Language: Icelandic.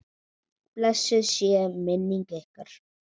Blessuð sé minning ykkar.